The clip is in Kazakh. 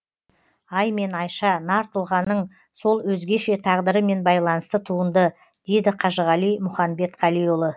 ай мен айша нар тұлғаның сол өзгеше тағдырымен байланысты туынды дейді қажығали мұханбетқалиұлы